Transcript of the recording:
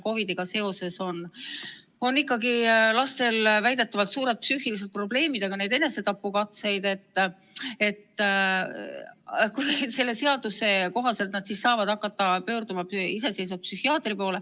Nagu räägitud, praegu on COVID-iga seoses lastel väidetavalt suured psüühilised probleemid, on ka enesetapukatseid.